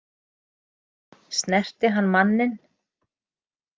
Snerti hann manninn?